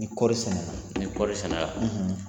Ni kɔɔri sɛnɛ na ni kɔɔri sɛnɛ la.